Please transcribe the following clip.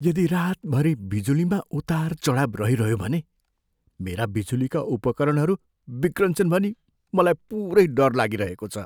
यदि रातभरि बिजुलीमा उतारचढाव रहिरह्यो भने मेरा बिजुलीका उपकरणहरू बिग्रन्छन् भनी मलाई पुरै डर लागिरहेको छ।